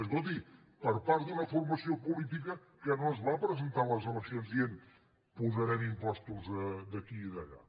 escolti per part d’una formació política que no es va presentar a les eleccions dient posarem impostos d’aquí i d’allà